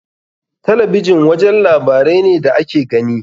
Talabijin wajen labarai ne da ake gani.